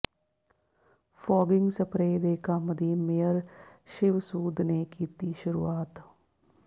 fogging spray ਦੇ ਕੰਮ ਦੀ ਮੇਅਰ ਸ਼ਿਵ ਸੂਦ ਨੇ ਕੀਤੀ ਸ਼ੁਰੂਆਤ